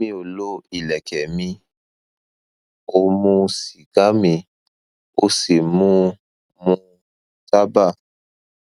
mi ò lo ìlẹkẹ mi ò mu sìgá mi ò sì mu mu tábà